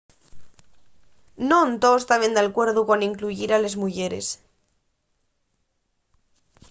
non toos taben d’alcuerdu con incluyir a les muyeres